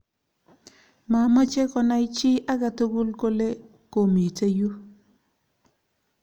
mamechei konai chii age tugul kole komite yuu